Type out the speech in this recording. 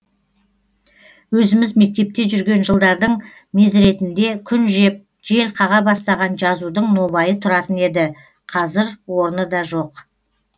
өзіміз мектепте жүрген жылдардың мезретінде күн жеп жел қаға бастаған жазудың нобайы тұратын еді қазір орны да жоқ